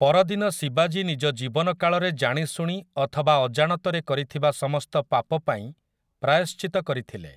ପରଦିନ ଶିବାଜୀ ନିଜ ଜୀବନକାଳରେ ଜାଣିଶୁଣି ଅଥବା ଅଜାଣତରେ କରିଥିବା ସମସ୍ତ ପାପ ପାଇଁ ପ୍ରାୟଶ୍ଚିତ୍ତ କରିଥିଲେ ।